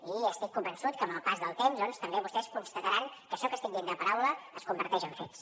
i estic convençut que amb el pas del temps doncs també vostès constataran que això que estic dient de paraula es converteix en fets